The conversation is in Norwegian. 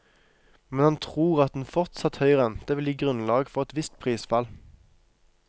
Men han tror at en fortsatt høy rente vil gi grunnlag for et visst prisfall.